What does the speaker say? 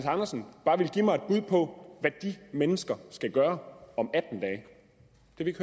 andersen bare ville give mig et bud på hvad de mennesker skal gøre om